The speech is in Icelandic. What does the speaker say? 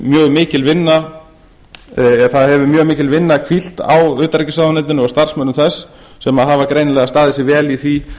mjög mikil vinna það hefur mjög mikil vinna hvílt á utanríkisráðuneytinu og starfsmönnum þess sem hafa greinilega staðið sig vel í því